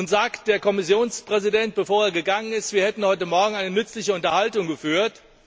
Nun sagte der Kommissionspräsident, bevor er gegangen ist, wir hätten heute Morgen eine nützliche Unterhaltung geführt.